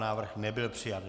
Návrh nebyl přijat.